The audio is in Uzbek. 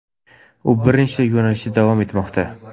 U bir nechta yo‘nalishda davom etmoqda.